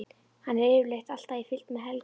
Hann er yfirleitt alltaf í fylgd með Helga.